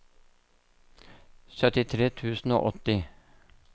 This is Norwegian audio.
syttitre tusen og åtti